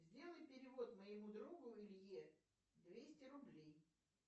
сделай перевод моему другу илье двести рублей